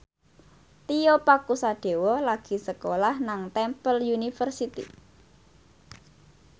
Tio Pakusadewo lagi sekolah nang Temple University